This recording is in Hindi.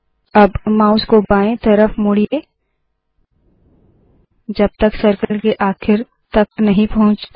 अब माउस को बाएं तरफ मोड़िए जब तक सर्कल के आखिर तक नहीं पहुँचता